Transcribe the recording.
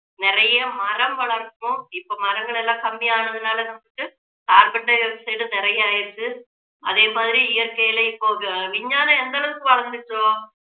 நிறைய மரம் வளர்க்கணும் இப்போ மரங்கள் எல்லாம் கம்மியானதனால நமக்கு carbon di-oxide நிறைய ஆயிடுச்சு அதே மாதிரி இயற்கையில் இப்போ விஞ்ஞானம் எந்த அளவுக்கு வளர்ந்துச்சோ